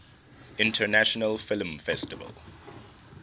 international film festival